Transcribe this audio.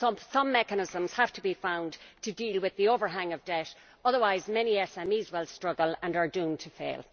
Some mechanisms have to be found to deal with the overhang of debt, otherwise many SMEs will struggle and are doomed to fail.